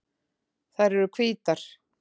Þær eru hvítar.